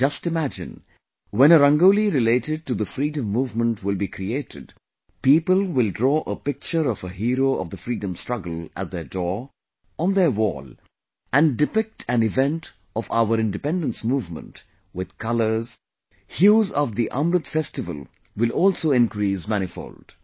Just imagine, when a Rangoli related to the freedom movement will be created, people will draw a picture of a hero of the freedom struggle at their door, on their wall and depict an event of our independence movement with colours, hues of the Amrit festival will also increase manifold